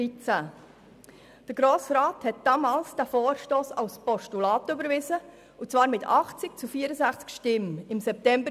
Der Grosse Rat hat im September 2013 den Vorstoss als Postulat überwiesen und zwar mit 80 zu 64 Stimmen.